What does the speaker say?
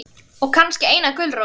Og kannski eina gulrót.